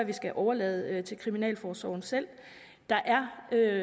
vi skal overlade det til kriminalforsorgen selv der er